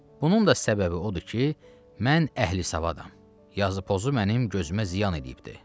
Bunun da səbəbi odur ki, mən əhli savadam, yazı-pozu mənim gözümə ziyan eləyibdir.